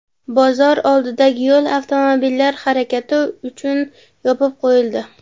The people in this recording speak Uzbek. Bozor oldidagi yo‘l avtomobillar harakati uchun yopib qo‘yildi.